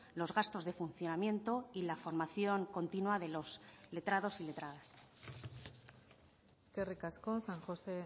los gastos de funcionamiento y la formación continua de los letrados y letradas eskerrik asko san josé